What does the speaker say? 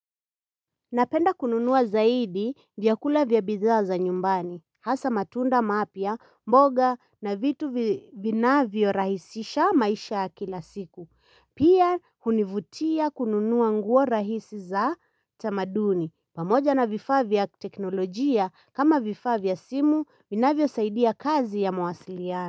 Napenda kununua zaidi vyakula vya bidhaa za nyumbani, hasa matunda mapya, mboga na vitu vinavyorahisisha maisha ya kila siku. Pia hunivutia kununua nguo rahisi za tamaduni, pamoja na vifaa vya teknolojia kama vifaa vya simu, vinavyosaidia kazi ya mawasiliano.